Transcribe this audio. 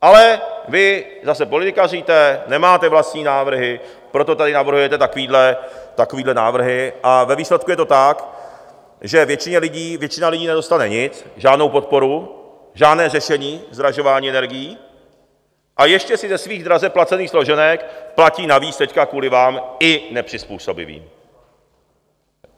Ale vy zase politikaříte, nemáte vlastní návrhy, proto tady navrhujete takovéhle návrhy, a ve výsledku je to tak, že většina lidí nedostane nic, žádnou podporu, žádné řešení zdražování energií, a ještě si ze svých draze placených složenek platí navíc teď kvůli vám i nepřizpůsobivé.